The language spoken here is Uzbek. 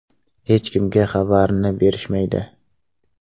Hech kimga xabarini berishmaydi.